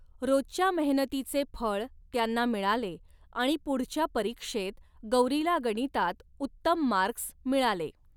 रोजच्या मेहनतीचे फळ त्यांना मिळाले आणि पुढच्या परीक्षेत गौरीला गणितात उत्तम मार्कस मिळाले.